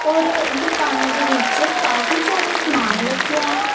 और दुकान दे विच काफी ज्यादा सामान रखी हैं।